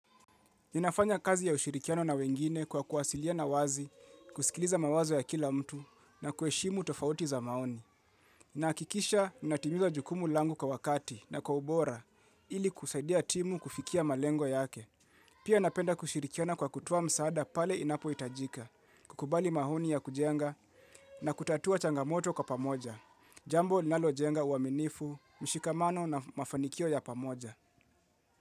Ninafanya kazi ya ushirikiano na wengine kwa kuwasiliana wazi, kusikiliza mawazo ya kila mtu na kuheshimu tofauti za maoni. Nahakikisha ninatimiza jukumu langu kwa wakati na kwa ubora ili kusaidia timu kufikia malengo yake. Pia napenda kushirikiana kwa kutoa msaada pale inapohitajika, kukubali mahoni ya kujenga na kutatua changamoto kwa pamoja. Jambo linalojenga uaminifu, mshikamano na mafanikio ya pamoja.